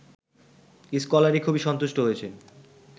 scholarly খুবই সন্তুষ্ট হয়েছেন